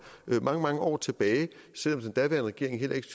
mange mange år tilbage selv om den daværende regering heller ikke